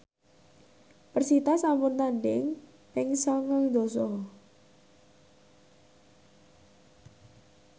persita sampun tandhing ping sangang dasa